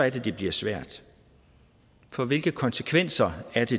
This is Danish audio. at det bliver svært for hvilke konsekvenser er det